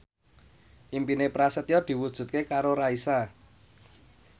impine Prasetyo diwujudke karo Raisa